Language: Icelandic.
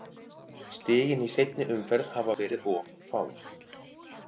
Stigin í seinni umferð hafa verið of fá.